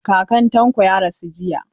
Kakan Tanko ya rasu jiya.